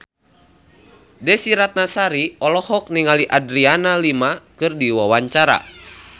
Desy Ratnasari olohok ningali Adriana Lima keur diwawancara